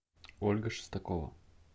ольга шестакова